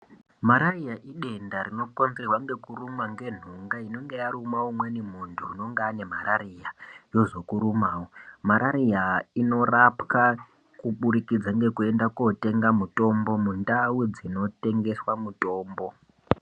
Marariya idenda rinokonzerwa ngekurumwa ngenhunga inenge yaruma umweni muntu unenge ane marariya yozokurumawo, marariya inorapwa kubudikidza ngekuyenda kotenga mutombo mundau dzinotengeswa mutombo.